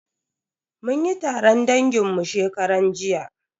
Mun yi taron dangin mu shekaran jiya.